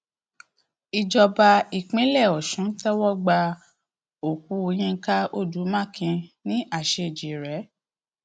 ìjọba ìpínlẹ ọsùn tẹwọ gba òkú yinka odu makin ní àṣejírẹ